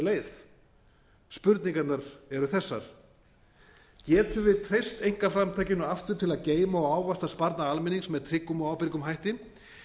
leið spurningarnar eru þessar getum við treyst einkaframtakinu aftur til að geyma og ávaxta sparnað almennings með tryggum og ábyrgum hætti